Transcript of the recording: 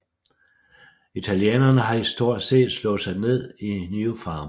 Italienerne har historisk set slået sig ned i New Farm